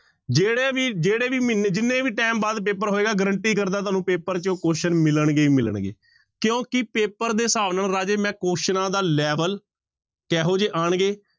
ਜਿਹੜੇ ਵੀ ਜਿਹੜੇ ਵੀ ਮਹੀਨੇ, ਜਿੰਨੇ ਵੀ time ਬਾਅਦ ਪੇਪਰ ਹੋਏਗਾ guarantee ਕਰਦਾ ਤੁਹਾਨੂੰ ਪੇਪਰ ਚ question ਮਿਲਣਗੇ ਹੀ ਮਿਲਣਗੇ ਕਿਉਂਕਿ ਪੇਪਰ ਦੇ ਹਿਸਾਬ ਨਾਲ ਰਾਜੇ ਮੈਂ ਕੁਆਸਚਨਾਂ ਦਾ level ਕਿਹੋ ਜਿਹੇ ਆਉਣਗੇ